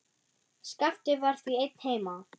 Skapti var því einn heima.